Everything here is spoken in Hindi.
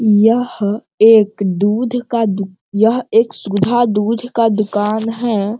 यह एक दूध का दुक यह एक सुधा दूध का दुकान है।